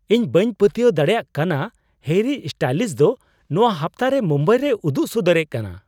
ᱤᱧ ᱵᱟᱹᱧ ᱯᱟᱹᱛᱭᱟᱹᱣ ᱫᱟᱲᱮᱭᱟᱜ ᱠᱟᱱᱟ ᱦᱮᱨᱤ ᱥᱴᱟᱭᱤᱞᱥ ᱫᱚ ᱱᱚᱣᱟ ᱦᱟᱯᱛᱟᱨᱮ ᱢᱩᱢᱵᱟᱭ ᱨᱮᱭ ᱩᱫᱩᱜ ᱥᱚᱫᱚᱨᱮᱫ ᱠᱟᱱᱟ ᱾